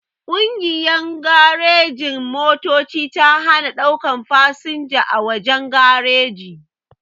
Kungiyan garejin-motoci ta hana daukan fasanja a wajen gareji